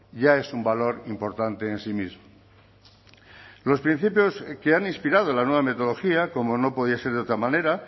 ya es un valor importante en sí mismo los principios que han inspirado la nueva metodología como no podía ser de otra manera